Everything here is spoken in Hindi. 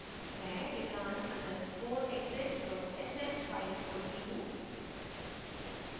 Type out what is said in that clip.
मैं return _ exit sh file खोलती हूँ